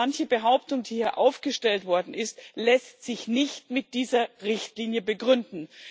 Denn manche Behauptung, die hier aufgestellt worden ist, lässt sich nicht mit dieser Richtlinie begründen.